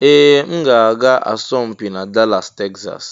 Ee! M ga-aga asọmpi na Dallas Texas.